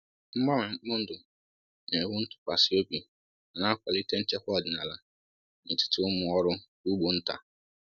Mgbanwe mkpụrụ ndụ na-ewu ntụkwasị obi ma na-akwalite nchekwa ọdịnala n’etiti ụmụ ọrụ ugbo nta.